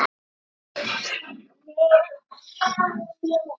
Karen Kjartansdóttir: Eruð þið búin að æfa til að vinna?